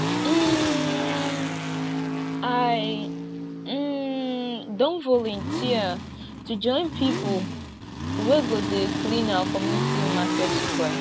um i um don volunteer to join pipo wey go dey clean our community market square